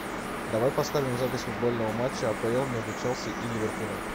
давай поставим запись футбольного матча апл между челси и ливерпулем